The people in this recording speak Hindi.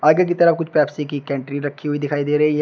आगे की तरह कुछ पेप्सी की कंट्री रखी हुई दिखाई दे रही है।